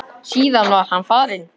Síðan var hann farinn.